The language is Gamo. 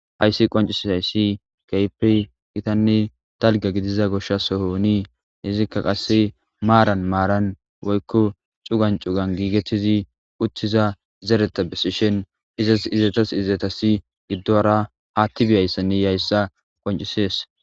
Hayssi qoncisisayssi kehippe gittanne dalgga gidiza goshsha sohoonii izikka qasse maaran maaran woykko cugan cugan giigettizi uttiza zereta besishen izas izetas izatasi giddo hara haatti biyayssanne yiyaayssa qoncisees